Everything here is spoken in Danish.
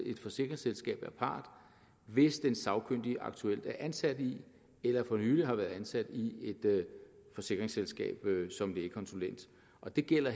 forsikringsselskab er part hvis den sagkyndige aktuelt er ansat i eller for nylig har været ansat i et forsikringsselskab som lægekonsulent og det gælder